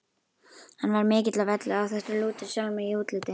Hann var mikill á velli, áþekkur Lúter sjálfum í útliti.